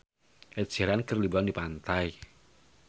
Ed Sheeran keur liburan di pantai